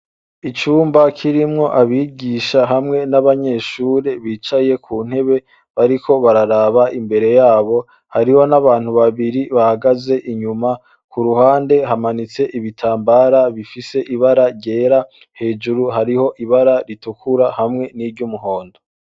Icumba kirimwo abigisha hamwe n'abanyeshure bicaye ku ntebe bariko bararaba imbere yabo hariho n'abantu babiri bahagaze inyuma ku ruhande hamanitse ibitambara bifise ibara ryera hejuru hariho ibara ritukura hamwe n'iryo umuhondo.